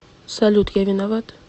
салют я виноват